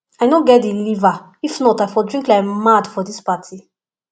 i no get the liver if not i for drink like mad for dis party